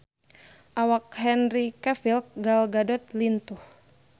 Awak Henry Cavill Gal Gadot lintuh